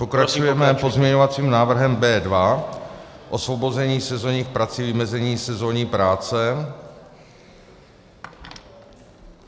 Pokračujeme pozměňovacím návrhem B2 - osvobození sezónních prací, vymezení sezónní práce.